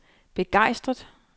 begejstret